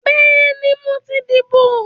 Bẹ́ẹ̀ni, mo ti dìbò